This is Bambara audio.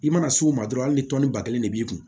I mana s'o ma dɔrɔn hali ni tɔni ba kelen de b'i kun